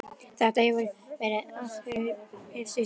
Þetta hefur verið ást við fyrstu sýn.